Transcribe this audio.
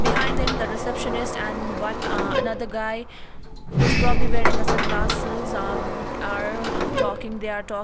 behind him the receptionist and one uh another guy who's probably wearing a sunglasses um are talking they are talk.